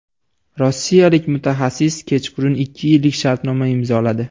Rossiyalik mutaxassis kechqurun ikki yillik shartnoma imzoladi.